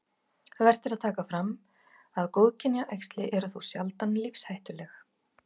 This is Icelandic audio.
Vert er að taka fram að góðkynja æxli eru þó sjaldan lífshættuleg.